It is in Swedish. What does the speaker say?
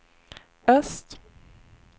öst